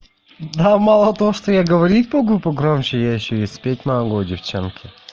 а мало того что я говорить могу погромче я и спать могу девчонки